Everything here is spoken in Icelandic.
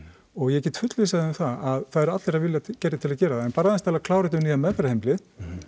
og ég get fullvissað þig um það að það eru allir af vilja gerðir til að gera það en bara aðeins til að klára þetta um nýja meðferðarheimilið